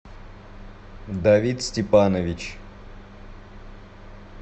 давид степанович